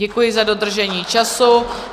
Děkuji za dodržení času.